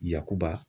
Yakuba